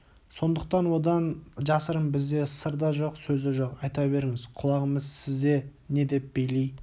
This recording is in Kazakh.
сондықтан одан жасырын бізде сыр да сөз де жоқ айта беріңіз құлағымыз сізде не деп бейли